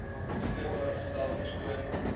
beskikbaar gestel vertoon